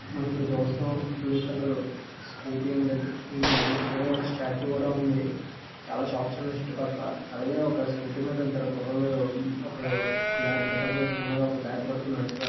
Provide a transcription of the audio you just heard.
మనం ఇప్పుడు చూస్తున్నాం. బ్లూ కలర్ స్కూటీ అండ్ రెండు బండ్లు అలాగే ఒక స్టాట్యూ కూడా ఉంది. చాలా షాప్ స్ ఉన్నాయి. చుట్టుపక్కల అలాగే ఒక స్కూటీ మీద ఇద్దరు కుర్రాళ్ళు ఒకళ్ళు బ్లాక్ --